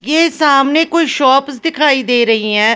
ये सामने कोई शॉप्स दिखाई दे रही है ।